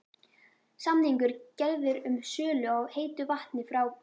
Samningur gerður um sölu á heitu vatni frá